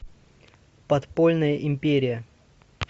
подпольная империя